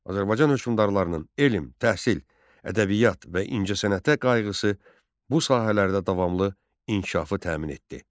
Azərbaycan hökmdarlarının elm, təhsil, ədəbiyyat və incəsənətə qayğısı bu sahələrdə davamlı inkişafı təmin etdi.